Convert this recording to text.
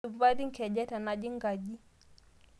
Maisupati nkejek tanajing nkaji